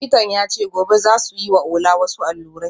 Likitan ya ce gobe za su yi wa Ola wasu allurai